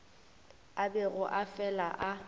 a bego a fela a